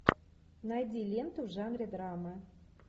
найди ленту в жанре драма